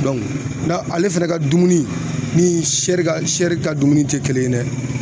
na ale fɛnɛ ka dumuni ni ka se ka dumuni tɛ kelen ye dɛ